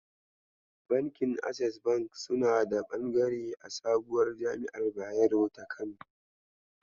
Bankin Access bank suna da bangare a sabuwar jami'ar Bayero ta Kano.